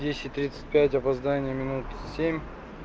десять тридцать пять опоздание минут семь